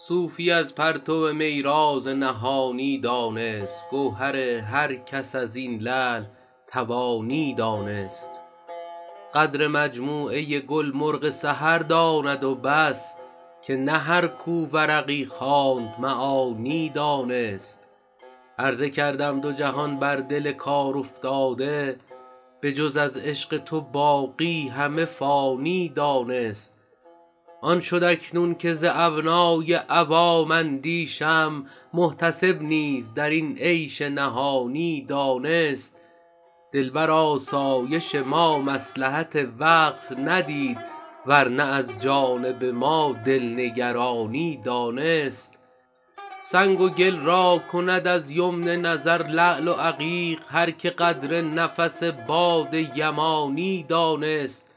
صوفی از پرتو می راز نهانی دانست گوهر هر کس از این لعل توانی دانست قدر مجموعه گل مرغ سحر داند و بس که نه هر کو ورقی خواند معانی دانست عرضه کردم دو جهان بر دل کارافتاده به جز از عشق تو باقی همه فانی دانست آن شد اکنون که ز ابنای عوام اندیشم محتسب نیز در این عیش نهانی دانست دل بر آسایش ما مصلحت وقت ندید ور نه از جانب ما دل نگرانی دانست سنگ و گل را کند از یمن نظر لعل و عقیق هر که قدر نفس باد یمانی دانست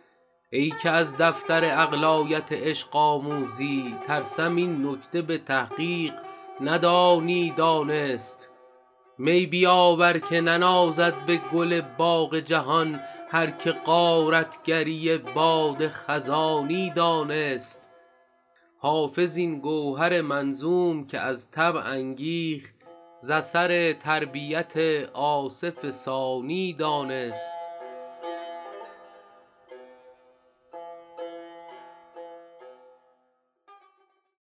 ای که از دفتر عقل آیت عشق آموزی ترسم این نکته به تحقیق ندانی دانست می بیاور که ننازد به گل باغ جهان هر که غارت گری باد خزانی دانست حافظ این گوهر منظوم که از طبع انگیخت ز اثر تربیت آصف ثانی دانست